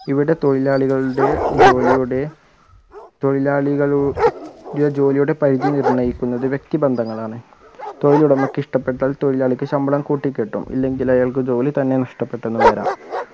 ഇവിടെ തൊഴിലാളികളുടെ ജോലിയുടെ തൊഴിലാളിക ളുടെ ജോലിയുടെ പരിധി നിർണ്ണയിക്കുന്നത് വ്യക്തി ബന്ധങ്ങളാണ് തൊഴിലുടമയ്ക്ക് ഇഷ്ട്ടപ്പെട്ടാൽ തൊഴിലാളിക്ക് ശമ്പളം കൂട്ടിക്കിട്ടും ഇല്ലെങ്കിൽ അയാൾക്ക് ജോലി തന്നെ നഷ്ട്ടപ്പെട്ടു എന്ന് വരാം